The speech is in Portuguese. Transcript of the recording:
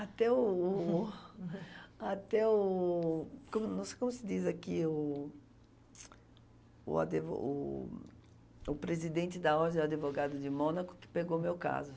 Até o... até o... como como se diz aqui o... o advo o o presidente da, advogado de Mônaco, que pegou o meu caso.